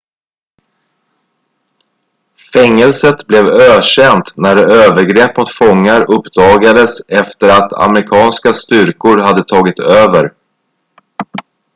fängelset blev ökänt när övergrepp mot fångar uppdagades efter att amerikanska styrkor hade tagit över